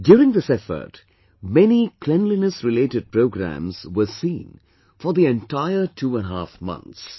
During this effort, many cleanliness related programs were seen for the entire two and a half months